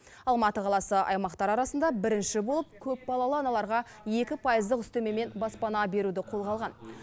алматы қаласы аймақтар арасында бірінші болып көпбалалы аналарға екі пайыздық үстемемен баспана беруді қолға алған